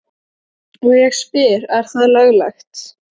Og ég spyr er það löglegt?